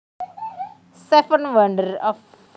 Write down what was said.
Seven Wonders Of